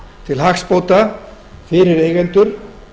til hagsbóta fyrir eigendur